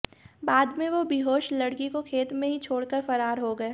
बाद में वे बेहोश लड़की को खेत में ही छोड़कर फरार हो गए